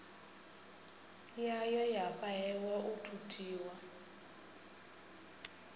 yayo ya fhahehwa u thuthiwa